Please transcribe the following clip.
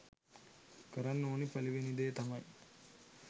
කරන්න ඕනි පළවෙනි දේ තමයි